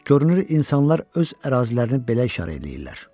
Görünür, insanlar öz ərazilərini belə işarə eləyirlər.